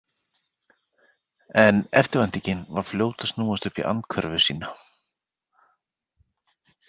En eftirvæntingin var fljót að snúast upp í andhverfu sína.